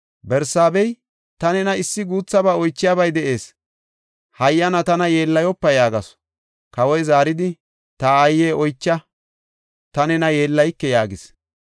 Barsaaba, “Ta nena issi guuthaba oychiyabay de7ees; hayyana tana yeellayopa” yaagasu. Kawoy zaaridi, “Ta aaye, oycha. Ta nena yeellayike” yaagis.